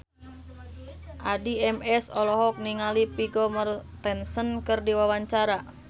Addie MS olohok ningali Vigo Mortensen keur diwawancara